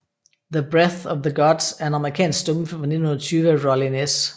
The Breath of the Gods er en amerikansk stumfilm fra 1920 af Rollin S